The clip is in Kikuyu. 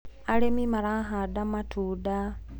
arĩmi marahanda matunda